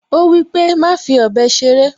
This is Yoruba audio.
Ó wípé, "Má fi ọ̀bẹ ṣeré"